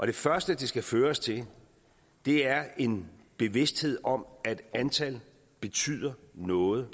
det første det skal føre os til er en bevidsthed om at antal betyder noget